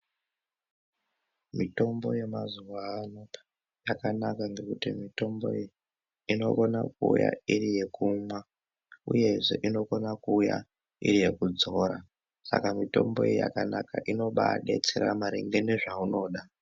Mitombo yemazuwa ano yakanaka ngekuti mutombo iyi iNokona kuuya iri yekumwa uyezve inokone kuuya iri yekudzora saka mutombo iyi yakanaka inobadetsera maringe nezvaunoda.